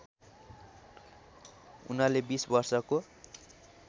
उनले २० वर्षको